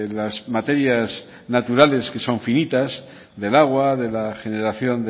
las materias naturales que son finitas del agua de la generación